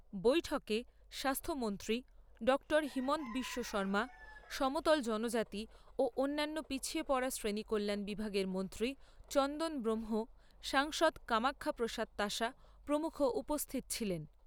বৈঠকে স্বাস্থ্য মন্ত্রী ডাক্তার হিমন্ত বিশ্ব শৰ্মা, সমতল জনজাতি ও অন্যান্য পিছিয়ে পড়া শ্রেণী কল্যাণ বিভাগের মন্ত্রী চন্দন ব্রক্ষ্ম, সাংসদ কামাখ্যা প্রসাদ তাসা প্রমুখ উপস্থিত ছিলেন।